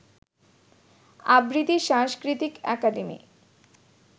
আবৃত্তি সাংস্কৃতিক একাডেম